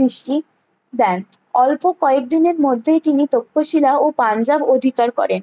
দৃষ্টি দেন অল্প কয়েকদিনের মধ্যেই তিনি তক্ষশিলা ও পাঞ্জাব অধিকার করে